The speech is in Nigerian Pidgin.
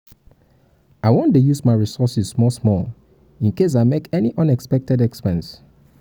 i wan dey use my resources small small in case i make any unexpected expense